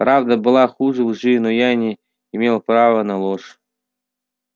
правда была хуже лжи но я не имел права на ложь